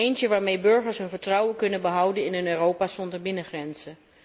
Eentje waarmee burgers hun vertrouwen kunnen behouden in een Europa zonder binnengrenzen.